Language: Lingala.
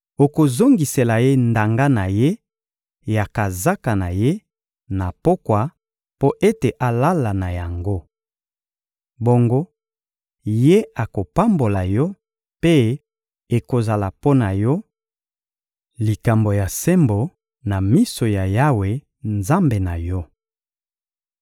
Okozongisela ye ndanga na ye ya kazaka ye, na pokwa, mpo ete alala na yango. Bongo, ye akopambola yo; mpe ekozala mpo na yo likambo ya sembo na miso ya Yawe, Nzambe na yo.